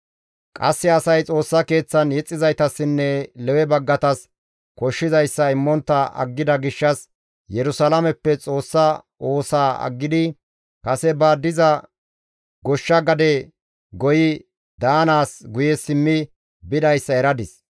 Qasse asay Xoossa Keeththan yexxizaytassinne Lewe baggatas koshshizayssa immontta aggida gishshas Yerusalaameppe Xoossa oosaa aggidi kase ba diza goshsha gade goyi daanaas guye simmi bidayssa eradis.